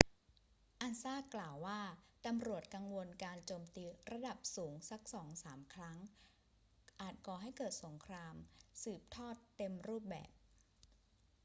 ansa กล่าวว่า ตำรวจกังวลว่าการโจมตีระดับสูงสักสองสามครั้งอาจก่อให้เกิดสงครามสืบทอดเต็มรูปแบบ